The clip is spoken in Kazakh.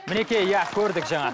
мінекей иә көрдік жаңа